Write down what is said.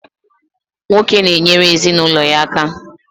Nwoke na-enyere ezinụlọ ya aka.